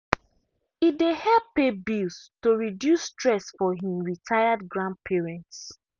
e dey help pay bills to reduce stress for him retired grandparents.